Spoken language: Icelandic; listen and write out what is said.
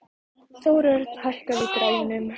Þórörn, hækkaðu í græjunum.